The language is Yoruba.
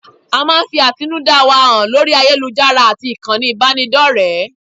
A máa ń fi àtinúdá wa hàn lórí ayélujára àti ìkànnì ìbánidọ́rẹ̀ẹ́.